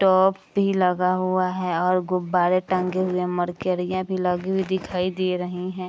टोप भी लगा हुवा है और गुब्बारे टंगे हुए मरकरियां भी लगी हुवी दिखाई दे रहीं हैं।